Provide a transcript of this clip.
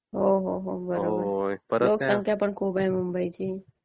हो, हो, बरोबर. लोकसंख्या पण खूप आहे मुंबईची.